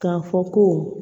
K'a fɔ ko